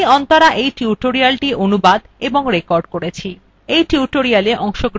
আমি অন্তরা এই tutorialটি অনুবাদ এবং রেকর্ড করেছি